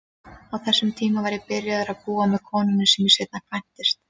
Á þessum tíma var ég byrjaður að búa með konunni sem ég seinna kvæntist.